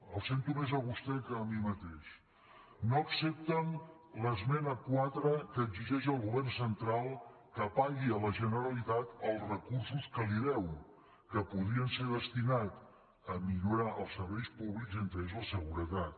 el sento més a vostè que a mi mateix no accepten l’esmena quatre que exigeix al govern central que pagui a la generalitat els recursos que li deu que podrien ser destinats a millorar els serveis públics entre ells la seguretat